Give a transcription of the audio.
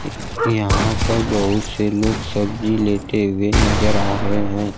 यहां पर बहुत से लोग सब्जी लेते हुए नजर आ रहे हैं।